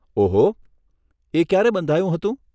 ઓહો, એ ક્યારે બંધાયું હતું?